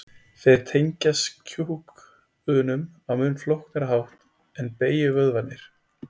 þeir tengjast kjúkunum á mun flóknari hátt en beygjuvöðvarnir